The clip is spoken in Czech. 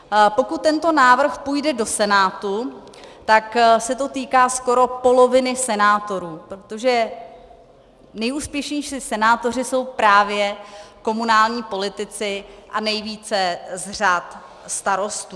Pokud tento návrh půjde do Senátu, tak se to týká skoro poloviny senátorů, protože nejúspěšnější senátoři jsou právě komunální politici a nejvíce z řad Starostů.